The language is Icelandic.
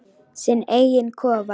Sinn eiginn kofa.